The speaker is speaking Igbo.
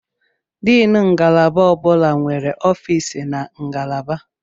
Diini ngalaba ọ bụla nwere ọfịs na ngalaba.